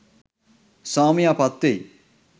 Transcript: ස්වාමියා පත්වෙයි.